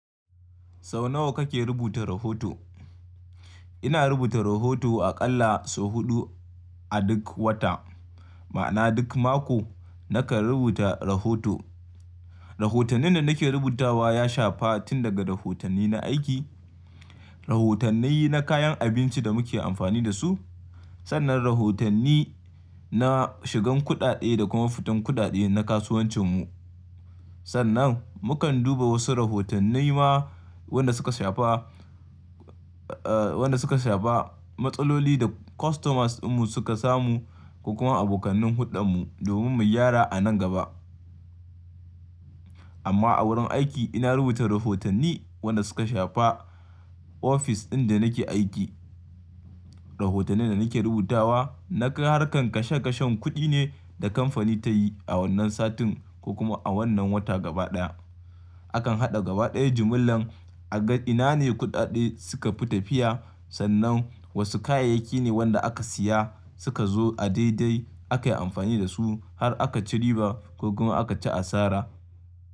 Sau nawa kake rubuta rahoto? Ina rubuta rahoto aƙalla sau huɗu a duk wata. Ma'ana duk mako nakan rubuta rahoto. Rahotannin da nake rubutawa ya shafa tun daga rahotanni na aiki, rahotannai na kayan abinci da muke amfani da su. Sannan rahotanni na shigan kuɗaɗe da kuma fitan kuɗaɗe na kasuwancin mu. Sannan mukan duba wasu rahotannai ma wanda suka shafa, eh wanda suka shafa matsaloli da customers din mu suka samu da kuma abokanin huɗan mu domin mu gyara a nan gaba. Amma a wurin aiki ina rubuta rahotanni wanda suka shafa ofis ɗin da nake aiki. Rahotannin da nake rubutawa na harkar kashe kashen kuɗi ne da kamfani ta yi a wannan satin ko kuma a wannan wata gaba ɗaya. A kan haɗa gaba ɗaya jimillan a ga ina ne kuɗaɗe suka fi tafiya sannan wasu kayayyaki ne wanda aka siya suka zo a daidai aka yi amfani da su har aka ci riba ko kuma aka ci asara.